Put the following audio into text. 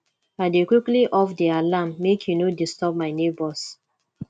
i dey quickly off di alarm make e no disturb my nebors